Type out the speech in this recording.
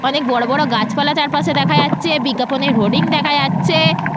অনেক বড় বড় গাছপালা চারপাশে দেখা যাচ্ছে বিজ্ঞাপনের হোডিং দেখা যাচ্ছে।